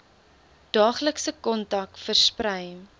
daaglikse kontak versprei